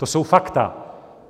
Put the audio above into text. To jsou fakta.